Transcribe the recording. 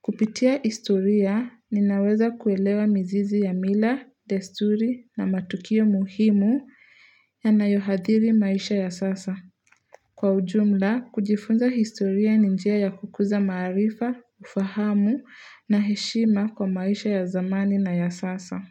Kupitia historia ninaweza kuelewa mizizi ya mila, desturi na matukio muhimu yanayoadhili maisha ya sasa. Kwa ujumla, kujifunza historia ni njia ya kukuza marifa, ufahamu na heshima kwa maisha ya zamani na ya sasa.